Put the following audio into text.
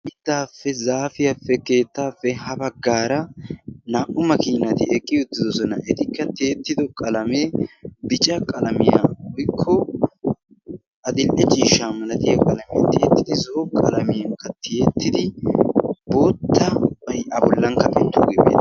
mittaappe, zaafiyaappe, keettaappe ha baggaara naa77u makiinati eqqi uttidosona. etikka tiyettido qalamee bica qalamiyaa woykko adil77e ciishsha malatiya qalamee tiyettidi zo7o qalamiyankka tiyettidi boottabay a bollankka tiyettoogee beettes.